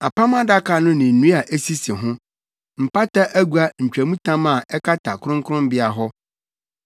Apam Adaka no ne nnua a esisi ho; Mpata agua ntwamtam a ɛkata kronkronbea hɔ,